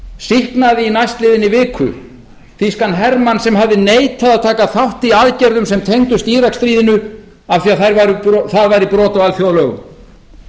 sýknaði í næstliðinni viku þýskan hermann sem hafði neitað að taka þátt í aðgerðum sem tengdust íraksstríðinu af því að það væri brot á alþjóðalögum